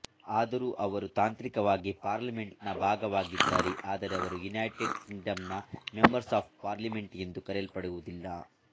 ಆದರೂ ಅವರು ತಾಂತ್ರಿಕವಾಗಿ ಪಾರ್ಲಿಮೆಂಟ್ ನ ಭಾಗವಾಗಿದ್ದಾರೆಆದರೆ ಅವರು ಯುನೈಟೆಡ್ ಕಿಂಗಡಮ್ ನ ಮೆಂಬರ್ಸ್ ಆಫ್ ಪಾರ್ಲಿಮೆಂಟ್ ಎಂದು ಕರೆಯಲ್ಪಡುವುದಿಲ್ಲ